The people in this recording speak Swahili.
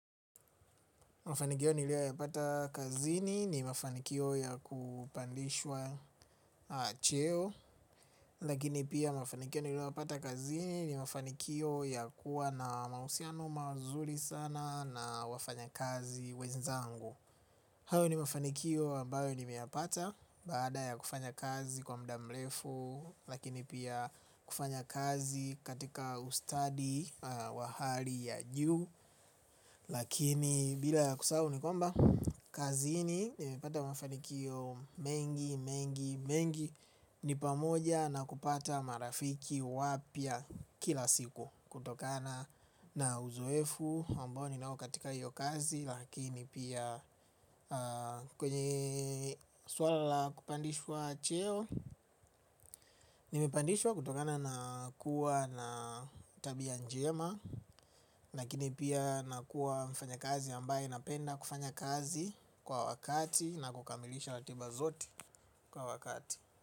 Mafanikio niliyoyapata kazini ni mafanikio ya kupandishwa cheo. Lakini pia mafanikio niliyoyapata kazini ni mafanikio ya kuwa na mahusiano mazuri sana na wafanyakazi wenzangu. Hayo ni mafanikio ambayo nimeyapata baada ya kufanya kazi kwa muda mrefu lakini pia kufanya kazi katika ustadi wa hali ya juu. Lakini bila kusahau ni kwamba kazini nimepata mafanikio mengi, mengi, mengi. Ni pamoja na kupata marafiki wapya kila siku kutokana na uzoefu ambao ninao katika hiyo kazi lakini pia kwenye swala la kupandishwa cheo. Nimepandishwa kutokana na kuwa na tabia njema. Lakini pia nakuwa mfanyakazi ambaye napenda kufanya kazi kwa wakati na kukamilisha ratiba zote kwa wakati.